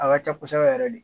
A ka ca kosɛbɛ yɛrɛ de